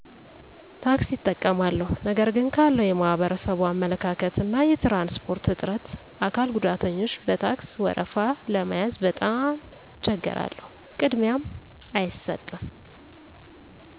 ታክሲ እጠቀማለሁ ነገር ግን ካለዉ የማህበረሰቡ አመለካከት እና የትራንስፖርት እጥረት አካል ጉዳተኞች በታክስ ወረፋ ለመያዝ በጣም እቸገራለሁ ቅድሚያም አይሰጥም